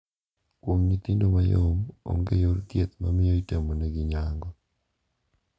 Kuom nyithindo mayom, onge yor thieth mamiyo itimonegi nyango.